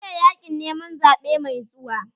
Shirya yaƙin neman zaɓe mai zuwa!